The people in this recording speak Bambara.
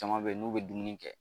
Jaman bɛ yen n'u bɛ dumuni kɛ.